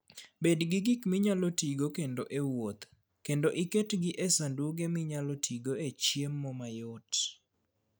Bed gi gik minyalo tigo kendo e wuoth, kendo iketgi e sanduge minyalo tigo e chiemo mayot.